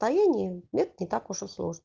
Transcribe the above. стояние нет не так уж и сложно